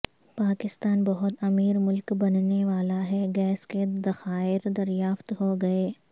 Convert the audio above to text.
پاکستان بہت امیر ملک بننے والا ہے گیس کے ذخائر دریافت ہو گئے